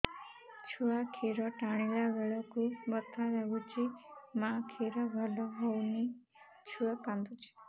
ଛୁଆ ଖିର ଟାଣିଲା ବେଳକୁ ବଥା ଲାଗୁଚି ମା ଖିର ଭଲ ହଉନି ଛୁଆ କାନ୍ଦୁଚି